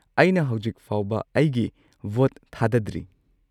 ꯑꯩꯅ ꯍꯧꯖꯤꯛ ꯐꯥꯎꯕ ꯑꯩꯒꯤ ꯚꯣꯠ ꯊꯥꯗꯗ꯭ꯔꯤ꯫